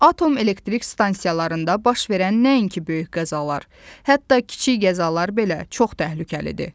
Atom elektrik stansiyalarında baş verən nəinki böyük qəzalar, hətta kiçik qəzalar belə çox təhlükəlidir.